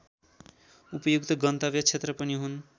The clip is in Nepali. उपयुक्त गन्तव्य क्षेत्र पनि हुन्